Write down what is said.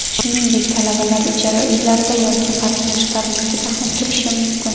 Shuningdek, talabalar ijara uylarda yoki qarindoshlarnikida ham turishi mumkin.